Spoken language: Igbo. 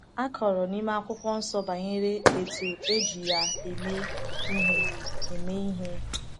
A kọrọ n’ime akwukwonsọ banyere etu eji ya eme ihe. eme ihe.